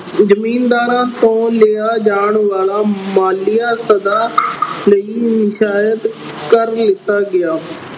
ਜ਼ਿੰਮੀਦਾਰਾਂ ਤੋਂ ਲਿਆ ਜਾਣ ਵਾਲਾ ਮਾਲੀਆ ਸਦਾ ਲਈ ਕਰ ਲੀਤਾ ਗਿਆ।